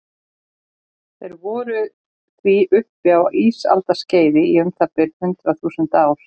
Þeir voru því uppi á ísaldarskeiði í um það bil hundrað þúsund ár.